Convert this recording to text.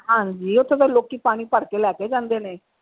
ਹਾਂਜੀ ਓਥੋਂ ਤਾਂ ਲੋਕੀ ਪਾਣੀ ਭਰਕੇ ਲੈ ਕੇ ਜਾਂਦੇ ਨੇ।